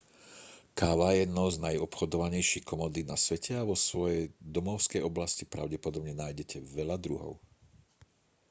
káva je jednou z najobchodovanejších komodít na svete a vo svojej domovskej oblasti pravdepodobne nájdete veľa druhov